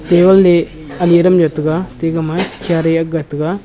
table a ani adam jaw ate gama chair aaga taiga.